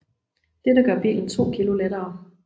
Dette gør bilen 2 kg lettere